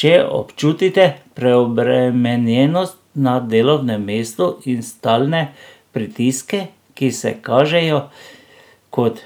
Če občutite preobremenjenost na delovnem mestu in stalne pritiske, ki se kažejo kot